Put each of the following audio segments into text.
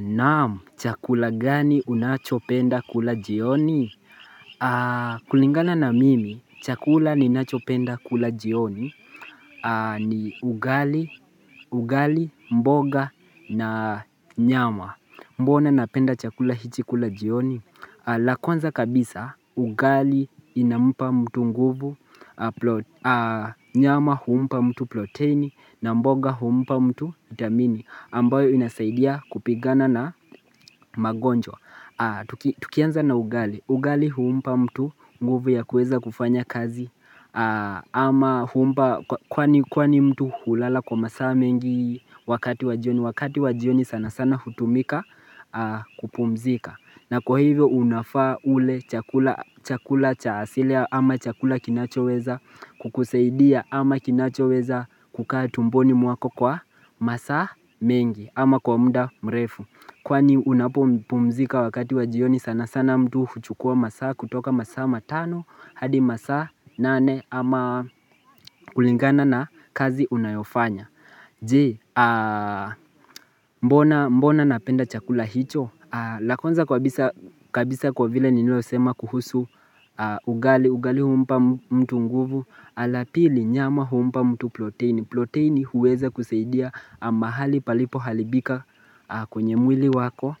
Naam, chakula gani unachopenda kula jioni? Kulingana na mimi, chakula ninachopenda kula jioni ni ugali, ugali, mboga na nyama. Mbona napenda chakula hichi kula jioni? La kwanza kabisa, ugali inampa mtu nguvu, nyama huumpa mtu proteni na mboga huumpa mtu damini ambayo inasaidia kupigana na magonjwa. Tukianza na ugali, ugali huumpa mtu nguvu ya kuweza kufanya kazi ama huumpa kwani mtu hulala kwa masaa mengi wakati wa jioni, wakati wa jioni sana sana hutumika kupumzika. Na kwa hivyo unafaa ule chakula cha asilia ama chakula kinachoweza kukusaidia ama kinachoweza kukaa tumboni mwako kwa masaa mengi ama kwa muda mrefu Kwani unapopumzika wakati wa jioni sana sana mtu kuchukua masaa kutoka masaa matano hadi masaa nane ama kulingana na kazi unayofanya Je, mbona napenda chakula hicho? La kwanza kabisa kwa vile nilivyosema kuhusu ugali, ugali humpa mtu nguvu. La pili, nyama humpa mtu proteini proteini huweza kusaidia mahali palipo haribika kwenye mwili wako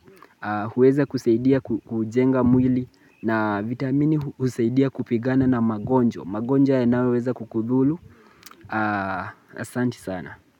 huweza kusaidia kujenga mwili na vitamini husaidia kupigana na magonjwa magonjwa yanayoweza kukudhuru Asanti sana.